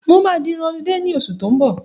Mo máa di irun ọlidé ní oṣù tó n bọ̀